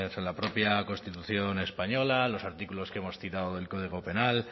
la propia constitución española los artículos que hemos citado del código penal